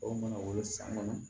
Aw mana wolo san kɔnɔ